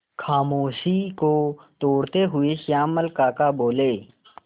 खामोशी को तोड़ते हुए श्यामल काका बोले